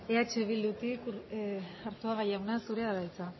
eh bildutik arzuaga jauna zurea da hitza